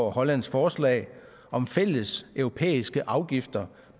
og hollands forslag om fælles europæiske afgifter